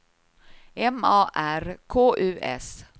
M A R K U S